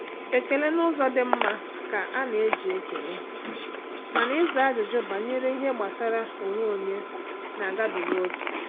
Ekele n’ụzọ dị mma ka a na-eji ekele, mana ịza ajụjụ banyere ihe gbasara onwe onye na-agabiga ókè.